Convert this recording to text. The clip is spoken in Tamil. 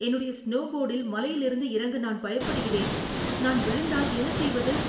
என்னுடைய ஸ்னோபோர்டில் மலையிலிருந்து இறங்க நான் பயப்படுகிறேன். நான் விழுந்தால் என்ன செய்வது?